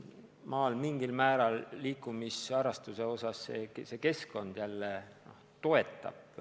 Maal mingil määral keskkond toetab liikumisharrastust.